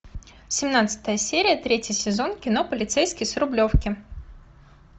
семнадцатая серия третий сезон кино полицейский с рублевки